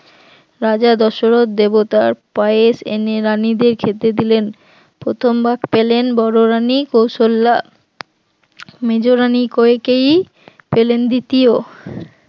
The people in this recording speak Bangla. রাজা দশরথ দেবতার পায়েশ এনে রাণীদের খেতে দিলেন প্রথম ভাগ পেলেন বড় রানী কৌশল্যা মেজরানি কইকেয়ী পেলেন দ্বিতীয়